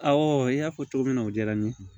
Awɔ i y'a fɔ cogo min na o diyara n ye